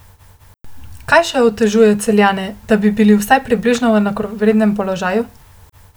Kaj še otežuje Celjane, da bi bili vsaj približno v enakovrednem položaju?